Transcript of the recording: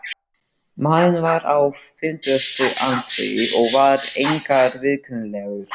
Maðurinn var á fimmtugsaldri og var einkar viðkunnanlegur.